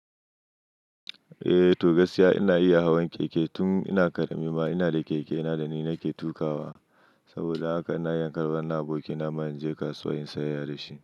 Eh to gaskiya ina iya hawan keke tun ina ƙarami ma ina da keke na dana ke tukawa. Saboda haka na raka wannan abokina man je kasuwa in sayayya da shi.